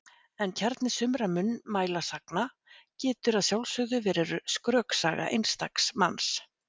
En kjarni sumra munnmælasagna getur að sjálfsögðu hafa verið skröksaga einstaks manns.